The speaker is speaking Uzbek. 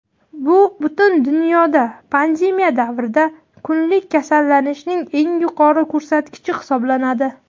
bu butun dunyoda pandemiya davrida kunlik kasallanishning eng yuqori ko‘rsatkichi hisoblanadi.